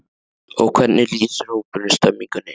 Og hvernig lýsir hópurinn stemningunni?